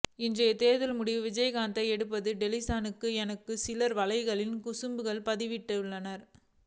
இன்றைய தேர்தல் முடிவு விஜயகாந்தை எப்படி டென்சனாக்கும் என்றும் சில வலைஞர்கள் குசும்பாக பதிவிட்டுள்ளனர்